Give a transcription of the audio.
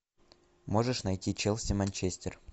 можешь найти челси манчестер